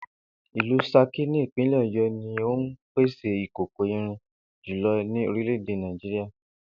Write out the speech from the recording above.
Ìlú S̩akí ní ìpínlè̩ Ò̩yó̩ ní ó ń pèsè ìkòkò irin jùlo̩ ní orílè̩-èdè Nàìjíríà